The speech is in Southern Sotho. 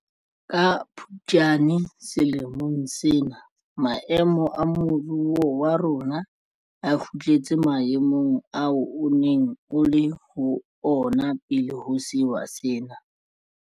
Ka Phuptjane selemong sena maemo a moruo wa rona a kgutletse maemong ao o neng o le ho ona pele ho sewa sena.